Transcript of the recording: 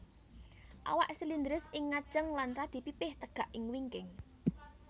Awak silindris ing ngajeng lan radi pipih tegak ing wingking